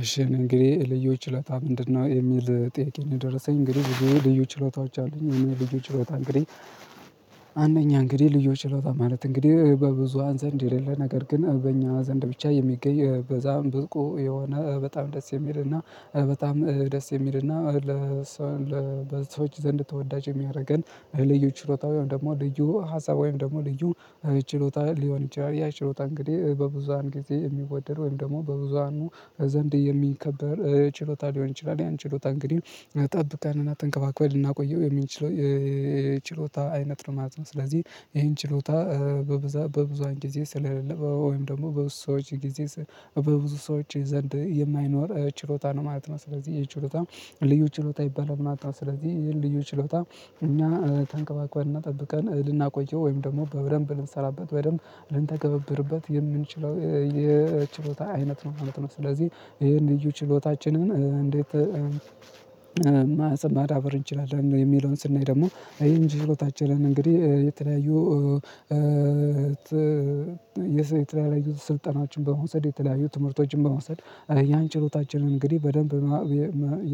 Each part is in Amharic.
እሺ እንግዲህ ልዩ ችሎታ ምንድነው የሚል ጥያቄ ነው? የደረሰኝ እንግዲህ ልዩ ችሎታዎች አሉኝ ልዩ ችሎታ እንግዲህ አንደኛ እንግዲህ ልዩ ችሎታ ማለት እንግዲህ በብዙሃን ዘንድ የሌለ ነገር ግን በእኛ ዘንድ ብቻ የሚገኝ በዛም ብርቁ የሆነ በጣም ደስ የሚልና በጣም ደስ የሚልና ለሰዎች ዘንድ ተወዳጅ የሚያደርገን ልዩ ችሎታ ወይ ደግሞ ልዩ ሀሳብ ወይም ደግሞ ልዩ ችሎታ ሊሆን ይችላል ያ ችሎታ እንግዲህ በብዙሃን ጊዜ የሚወደድ ወይም ደግሞ በብዙሃኑ ዘንድ የሚከበር ችሎታ ሊሆን ይችላል ያን ችሎታ እንግዲህ ጠብቀንና ተንከባክበን ልናቆየው የሚችለው የችሎታ አይነት ነው ማለት ነው። ስለዚህ ይሄን ችሎታ በብዙ በብዙሃን ጊዜ ስለ ወይም ደግሞ በብዙ ሰዎች ጊዜ በብዙ ሰዎች ዘንድ የማይኖር ችሎታ ነው ማለት ነው ስለዚህ ይህ ችሎታ ልዩ ችሎታ ይባላል ማለት ነው። ስለዚህ ይሄን ልዩ ችሎታ እኛ ተንከባክበን እና ጠብቀን ልናቆየው ወይም ደግሞ በደምብ ብንሰራበት በደንብ ልንተገበብርበት የምንችለው የችሎታ አይነት ነው ማለት ነው። ስለዚህ ይሄን ልዩ ችሎታችንን እንዴት ማዳበር እንችላለን? የሚለውን ስናይ ደግሞ እንጂ ህይወታችን እንግዲህ የተለያዩ የተለያዩ ስልጠናዎችን በመውሰድ የተለያዩ ትምህርቶችን በመውሰድ ያን ችሎታችንን እንግዲህ በደንብ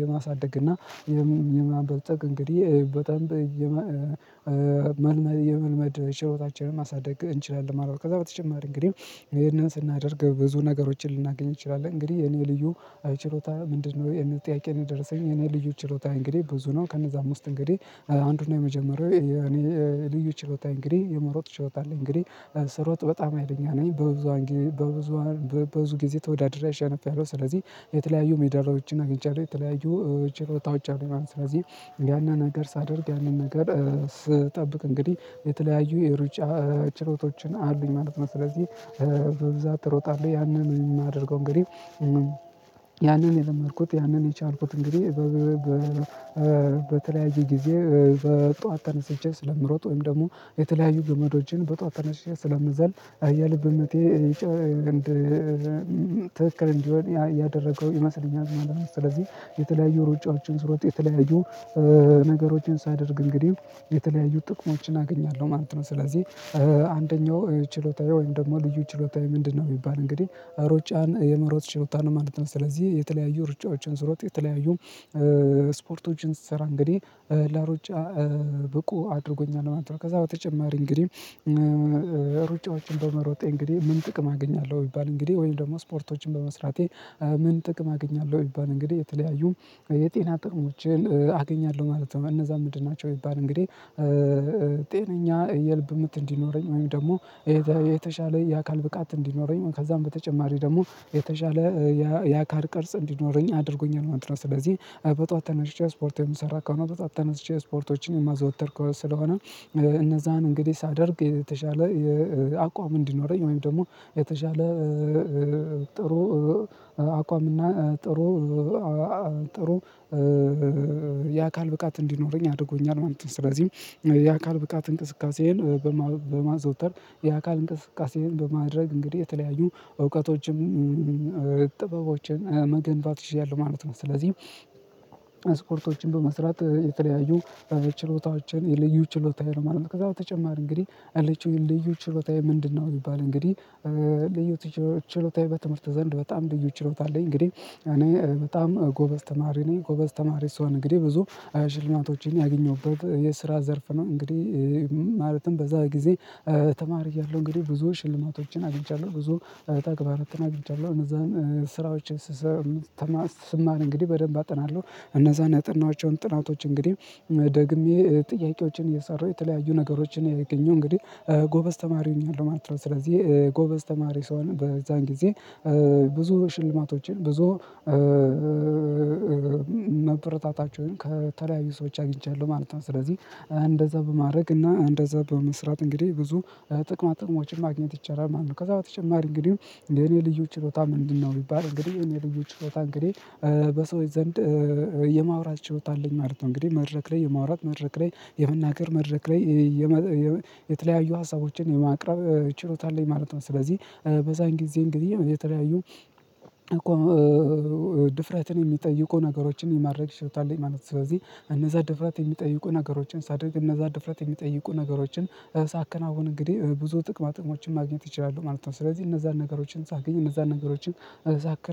የማሳደግ እና የማበልጸግ እንግዲህ በጣም የመልመድ የመልመድ ችሎታችንን ማሳደግ እንችላለን። ከዛ በተጨማሪ እንግዲህ ይሄንን ስናደርግ ብዙ ነገሮችን ልናገኝ እንችላለን እንግዲህ የኔ ልዩ እኛ ተንከባክበን እና ጠብቀን ልናቆየው ወይም ደግሞ በደምብ ብንሰራበት በደንብ ልንተገበብርበት የምንችለው የችሎታ አይነት ነው ማለት ነው። ስለዚህ ይሄን ልዩ ችሎታችንን እንዴት ልዩ ችሎታየ እንግዲህ የመሮጥ ችሎታ አለኝ እንግዲህ ስሮጥ በጣም ሀይለኛ ነኝ። በብዙ በብዙ ብዙ ግዜ ተወዳድሬ አሸንፊለሁ ስለዚ የተለያዩ ሜዳልያዎች አግኝቻለሁ። የተለያዩ ችሎታዎች አሉኝ ማለት ስለዚ ያንን ነገር ሳደርግ ያንን ነገር ስጠብቅ እንግዲህ የተለያዩ የሩጫ ችሎታዎች አሉኝ ማለት ነው። ስለዚ በብዛት እሮጣለሁ ያንን ማደርገው እንግዲህ ያንን የለመድኩት ያንን የቻልኩት እንግዲህ በተለያየ ግዜ በጧት ተነስቸ ስለምሮጥ ወይም ደግሞ የተለያዩ ገመዶችን በጧት ተነስቼ ስለምዘል የልብ ምቴ ትክክል እንዲሆን ያደረገው ይመስለኛል ማለት ነው። ስለዚ የተለያዩ ሩጫዎችን ስሮጥ የተለያዩ ነገሮችን ሳደርግ እንግዲህ የተለያዩ ጥቅሞችን አገኛለሁ ማለት ነው። ስለዚ አንደኛው ችሎታየ ወይም ደግሞ ልዩ ችሎታየ ምንድነው? ቢባል እንግዲህ ሩጫን የመሮጥ ችሎታ ነው ማለት ነው። ስለዚ የተለያዩ ሩጫዎችን ስሮጥ የተለያዩ ስፖርቶችን ስሰራ እንግዲህ ለሩጫ ብቁ አድርጎኛል ማለት ነው። ከዛ በተጨማሪ እንግዲህ ሩጫዎችን በመሮጤ እንግዲህ ምን ጥቅም አገኛለሁ? ቢባል እንግዲህ ስፖርቶችን በመስራቴ ምን ጥቅም አገኛለሁ? ቢባል እንግዲህ የተለያዩ የጤና ጥቅሞችን አገኛለሁ ማለት ነው። እነዚያ ምንድናቸው? ቢባል እንግዲህ ጤነኛ የልብ ምት እንዲኖረኝ ወይም ደሞ የተሻለ የአካል ብቃት እንዲኖረኝ ከዛም በተጨማሪ ደሞ የተሻለ የአካል ቅርጽ እንዲኖረኝ አድርጎኛል ማለት ነው። ስለዚ በጠዋት ተነስቼ ስፖርት የምሰራ ከሆነ በጠዋት ተነስቼ ስፖርቶችን የማዘወትር ስለሆነ እነዛን እንግዲህ ሳደርግ የተሻለ አቋም እንዲኖረኝ ወይም ደሞ የተሻለ ጥሩ አቋም እና ጥሩ ብቃት እንዲኖረኝ አድርጎኛል ማለት ነው። ስለዚህ የአካል ብቃት እንቅስቃሴን በማዘውተር የአካል እንቅስቃሴን በማድረግ እንግዲህ የተለያዩ እውቀቶችን ጥበቦችን መገንባት ችያለሁ ማለት ነው። ስለዚ ስፖርቶችን በመስራት የተለያዩ ችሎታዎችን ልዩ ችሎታ ማለት ነው። ከዛ በተጨማሪ እንግዲህ ያለችኝ ልዩ ችሎታየ ምንድነው? ቢባል እንግዲህ ልዩ ችሎታየ በትምርት ዘንድ በጣም ልዩ ችሎታ አለኝ እንግዲህ እኔ በጣም ጎበዝ ተማሪ ነኝ ጎበዝ ተማሪ ስሆን እንግዲህ ብዙ ሽልማቶች ያገኘሁበት የስራ ዘርፍ ነው። እንግዲህ ማለትም በዛ ግዜ ተማሪ እያለሁ እንግዲህ ብዙ ሽልማቶች አግኝቻለሁ። ብዙ ተግባራትን አግኝቻለሁ እነዛ ስራዎችን ስሰራ እንግዲህ በደምብ አጠናለሁ። እነዛን ያጠናኋቸው ጥናቶች እንግዲህ ደግሜ ጥያቄዎችን እየሰራሁ የተለያዩ ነገሮችን እያገኞህ እንግዲህ ጎበዝ ተማሪ ሁኛለሁ ማለት ነው። ስለዚ ጎበዝ ተማሪ ስሆን በዛን ግዜ ብዙ ሽልማቶችን ብዙ ማበረታቻዎችን ከተለያዩ ሰዎች አግኚቻለሁ ማለት ነው። ስለዚ እንደዛ በማድረግና እንደዛ በመስራት እንግዲህ ብዙ ጥቅማጥቅሞችን ማግኘት ይቻላል። ከዛ በተጨማሪ እንግዲህ የኔ ልዩ ችሎታ ምንድነው? ቢባል እንግዲህ የኔ ልዩ ችሎታ እንግዲህ በሰዎች ዘንድ የማውራት ችሎት አለኝ ማለት ነው። እንግዲህ መድረክ ላይ የማውራት መድረክ ላይ የመናገር መድረክ ላይ የተለያዩ ሀሳቦችን የማቅረብ ችሎታ አለኝ ማለት ነው። ስለዚ በዛን ግዜ እንግዲህ የተለያዩ ድፍረትን ሚጠይቁ ነገሮችን የማድረግ ችሎታ አለኝ ማለት ነው። ስለዚ እነዛ ድፍረት የሚጠይቁ ነገሮችን ሳደርግ እነዛ ድፍረት የሚጠይቁ ነገሮች ሳከናውን እንግዲህ ብዙ ጥቅማ ጥቅሞችን ማግኘት እችላለሁ። ስለዚ እነዛ ነገሮችን ሳገኝ እነዛ ነገሮች ሳከናውን